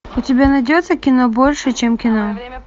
у тебя найдется кино больше чем кино